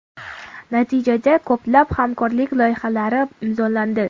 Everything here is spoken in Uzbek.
Natijada ko‘plab hamkorlik loyihalari imzolandi.